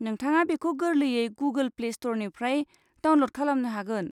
नोंथाङा बेखौ गोरलैयै गुगोल प्ले स्ट'रनिफ्राय डाउनल'ड खालामनो हागोन।